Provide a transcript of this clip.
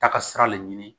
Taa ka sira le ɲini